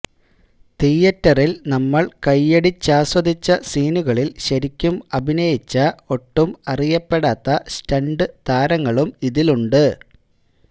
തീയറ്ററിൽ നമ്മൾ കയ്യടിച്ചാസ്വദിച്ച സീനുകളിൽ ശരിക്കും അഭിനയിച്ച ഒട്ടും അറിയപ്പെടാത്ത സ്റ്റണ്ട് താരങ്ങളും ഇതിലുണ്ട്